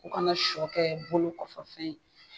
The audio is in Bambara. U kana sɔ kɛ bolo kɔfɛfɛn ye